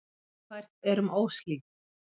Ófært er um Óshlíð.